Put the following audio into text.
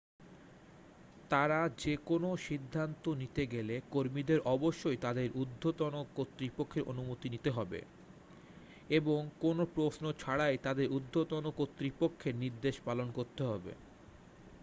তারা যে কোনও সিদ্ধান্ত নিতে গেলে কর্মীদের অবশ্যই তাদের উর্ধ্বতন কর্তৃপক্ষের অনুমতি নিতে হবে এবং কোনও প্রশ্ন ছাড়াই তাঁদের উর্ধ্বতন কর্তৃপক্ষের নির্দেশ পালন করতে হবে